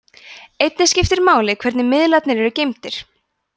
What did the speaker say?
einnig skiptir máli hvernig miðlarnir eru geymdir